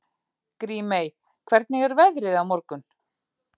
Grímey, hvernig er veðrið á morgun?